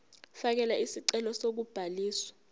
fakela isicelo sokubhaliswa